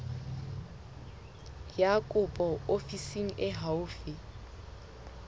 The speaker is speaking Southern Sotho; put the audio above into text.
ya kopo ofising e haufi